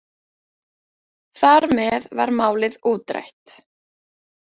Þar með var málið útrætt.